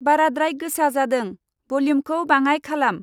बाराद्राय गोसा जादों। वल्युमखौ बाङाय खालाम।